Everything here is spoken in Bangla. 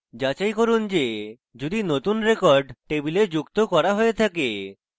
যাচাই করি যে যদি নতুন record table যুক্ত করা হয়ে থাকে